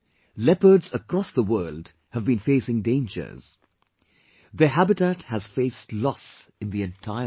Leopards, across the world have been facing dangers; their habitat has faced loss in the entire world